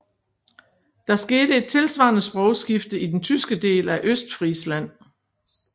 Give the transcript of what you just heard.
Der skete et tilvarende sprogskifte i den tyske del af Østfrisland